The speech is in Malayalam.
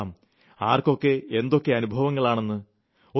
നോക്കാം ആർക്കൊക്കെ എന്തൊക്കെ അനുഭവങ്ങളാണെന്ന്